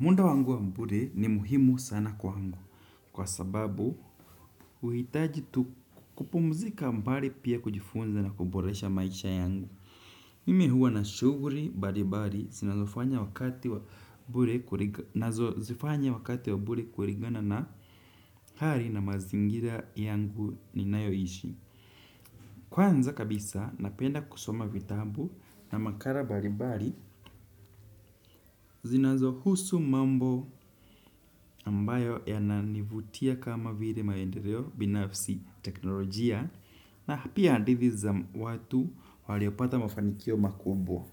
Munda wangu wa mbure ni muhimu sana kwa wangu kwa sababu uhitaji kupumzika mbari pia kujifunza na kuboresha maisha yangu. Mimi huwa na shuguri bari bari zizofanya wakati wa bure kurigana na hari na mazingira yangu ni nayo ishi. Kwanza kabisa napenda kusoma vitabu na makara baribari zinazo husu mambo ambayo yananivutia kama vile maendereo binafsi teknolojia na pia handithi za watu waliopata mafanikio makubwa.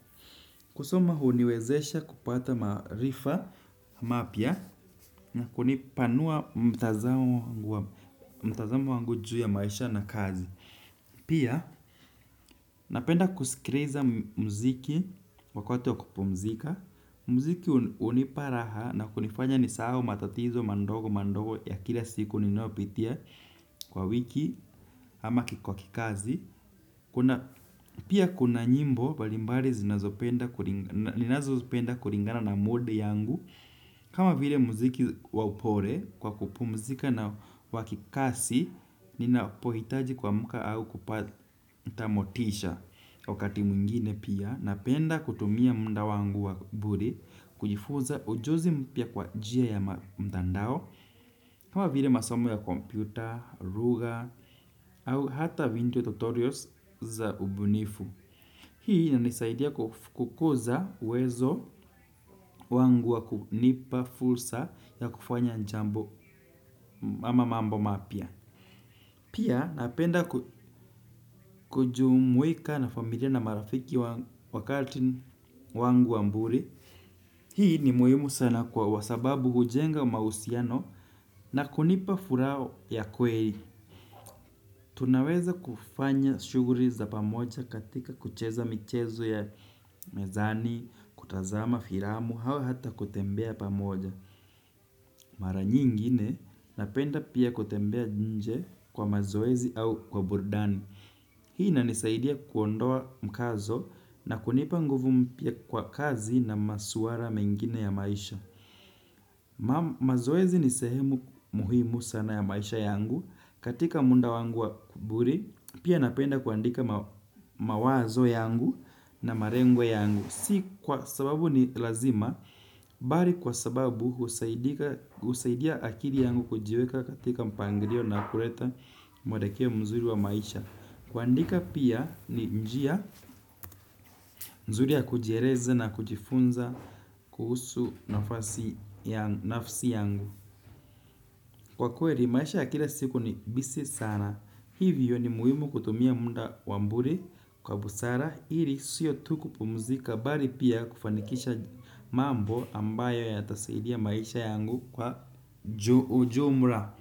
Kusoma hu niwezesha kupata maarifa mapya na kunipanua mtazamo wangu juu ya maisha na kazi. Pia napenda kusikiriza mziki wakote wa kupumzika. Mziki hunipa raha na kunifanya ni sahau matatizo mandogo mandogo ya kila siku ninayopitia kwa wiki ama kwakikazi. Pia kuna nyimbo balimbali zinazopenda kuringana na mood yangu kama vile muziki wa upole kwa kupumzika na wakikasi, ninapohitaji kuamka au kupata motisha wakati mwingine pia. Napenda kutumia munda wangu wa bure, kujifuza ujozi mpya kwa njia ya mtandao. Kama vile masom ya kompyuta, ruga, au hata vindio tutorials za ubunifu. Hii inanisaidia kukuza uwezo wangu wa kunipa fursa ya kufanya njambo ama mambo mapya. Pia napenda kujumuika na familia na marafiki wakati wangu wa mbure. Hii ni muhimu sana kwa wasababu hujenga mahusiano na kunipa furaha ya kweri. Tunaweza kufanya shugri za pamoja katika kucheza michezo ya mezani, kutazama firamu hau hata kutembea pamoja. Mara nyingine napenda pia kutembea nje kwa mazoezi au kwa burdani. Hii inanisaidia kuondoa mkazo na kunipa nguvu mpya kwa kazi na masuara mengine ya maisha. Mazoezi ni sehemu muhimu sana ya maisha yangu. Katika munda wangu wa kuburi pia napenda kuandika mawazo yangu na marengo yangu. Si kwa sababu ni lazima bari kwa sababu husaidia akiri yangu kujiweka katika mpangirio na kuleta mwelekeo mzuri wa maisha. Kuandika pia ni njia nzuri ya kujiereza na kujifunza kuhusu nafasi ya nafsi yangu. Kwa kweri maisha ya kila siku ni busy sana. Hivyo ni muhimu kutumia mnda wa mbure kwa busara iri sio tu kupumuzika bari pia kufanikisha mambo ambayo yatasaidia maisha yangu kwa ujumra.